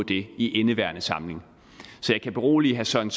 det i indeværende samling så jeg kan berolige herre søren